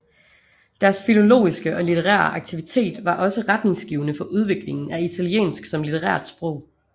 Deres filologiske og litterære aktivitet var også retningsgivende for udviklingen af italiensk som litterært sprog